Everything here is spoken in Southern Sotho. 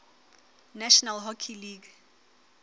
national hockey league